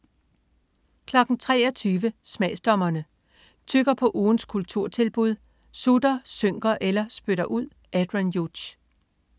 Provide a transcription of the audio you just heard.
23.00 Smagsdommerne. Tygger på ugens kulturtilbud, sutter, synker eller spytter ud. Adrian Hughes